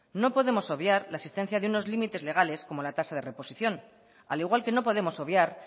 no podemos obviar la existencia de unos límites legales como la tasa de reposición al igual que no podemos obviar